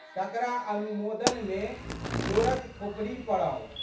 तकरा अनुमोदनमे जोड़क थोपड़ी पड़ल।